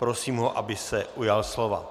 Prosím ho, aby se ujal slova.